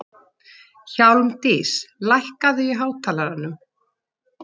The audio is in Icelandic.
Hjálmdís, lækkaðu í hátalaranum.